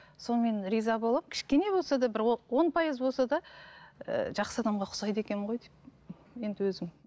сонымен риза боламын кішкене болса да бір он пайыз болса да ііі жақсы адамға ұқсайды екенмін ғой деп енді өзім